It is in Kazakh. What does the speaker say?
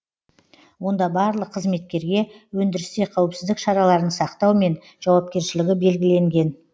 онда барлық қызметкерге өндірісте қауіпсіздік шараларын сақтау мен жауапкершілігі белгіленген